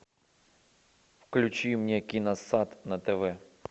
включи мне киносат на тв